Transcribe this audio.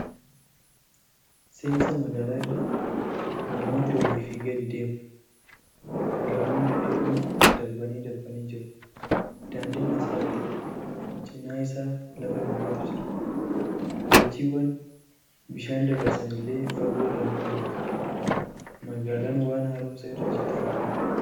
Seensa magaalaa irra, namooti oliifi gadi deemu. gamoon dhedheeroon darbanii darbanii jiru. daandiin asfaaltidha. Cinaa isaa lafa duwwaatu jira. Diichiwwan bishaan dabarsan illee fagoo irraa ni mul'atu. Magaalaan waan haaromsa irra jirtu fakkaata.